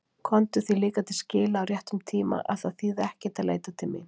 Komdu því líka til skila á réttum tíma að það þýði ekkert að leita mín.